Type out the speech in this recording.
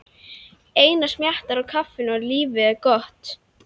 Einar smjattar á kaffinu og lífið er gott.